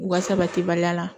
U ka sabati baliya la